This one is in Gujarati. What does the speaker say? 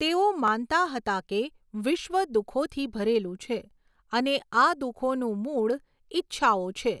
તેઓ માનતા હતા કે વિશ્વ દુઃખોથી ભરેલું છે અને આ દુઃખોનું મૂળ ઈચ્છઓ છે.